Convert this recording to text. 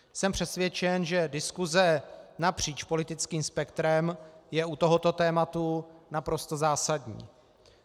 Jsem přesvědčen, že diskuse napříč politickým spektrem je u tohoto tématu naprosto zásadní.